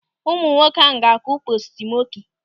Ụmụ nwoke ahụ ga-akụ postu mọki.